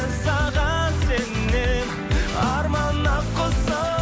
саған сенем арман ақ құсым